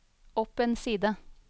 opp en side